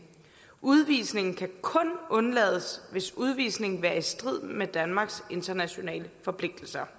udvisning kan kun undlades hvis udvisning vil være i strid med danmarks internationale forpligtelser